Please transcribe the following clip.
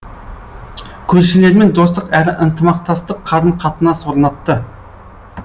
көршілермен достық әрі ынтымақтастық қарым қатынас орнатты